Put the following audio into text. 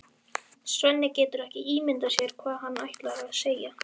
Svenni getur ekki ímyndað sér hvað hann ætlar að segja.